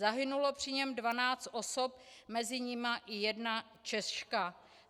Zahynulo při něm 12 osob, mezi nimi i jedna Češka.